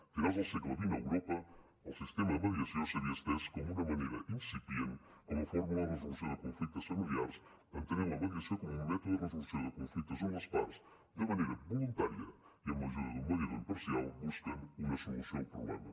a finals del segle xx a europa el sistema de mediació s’havia estès d’una manera incipient com a fórmula de resolució de conflictes familiars entenent la mediació com un mètode de resolució de conflictes on les parts de manera voluntària i amb l’ajuda d’un mediador imparcial busquen una solució al problema